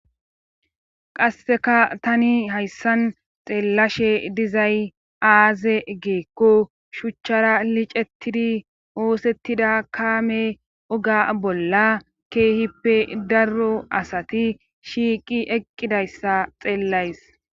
qasseka tani hayssan xeellashe dizay aaze geekko shuchchara liicettidi oosettida kaame oga bolla keehippe darro asati shiiqi eqqidayssa xeellays